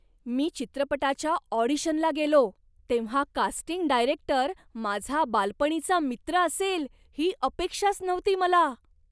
मी चित्रपटाच्या ऑडिशनला गेलो, तेव्हा कास्टिंग डायरेक्टर माझा बालपणीचा मित्र असेल ही अपेक्षाच नव्हती मला.